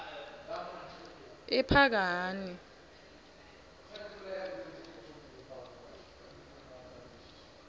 ephakani